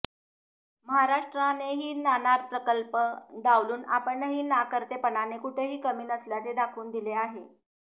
महाराष्ट्रानेही नाणार प्रकल्प डावलून आपणही नाकर्तेपणाने कुठेही कमी नसल्याचे दाखवून दिले आहे